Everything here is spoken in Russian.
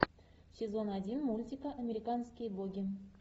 сезон один мультика американские боги